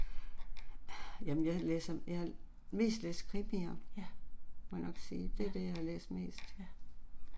Ah jamen jeg læser jeg har mest læst krimier, må jeg nok sige, det er det jeg har læst mest